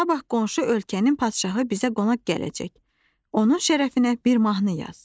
"Sabah qonşu ölkənin padşahı bizə qonaq gələcək, onun şərəfinə bir mahnı yaz."